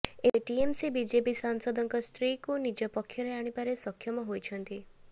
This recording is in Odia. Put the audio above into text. ଏବେ ଟିଏମସି ବିଜେପି ସାଂସଦଙ୍କ ସ୍ତ୍ରୀକୁ ନିଜ ପକ୍ଷରେ ଆଣିବାରେ ସକ୍ଷମ ହୋଇଛନ୍ତି